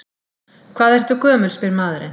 Hvað ertu gömul, spyr maðurinn.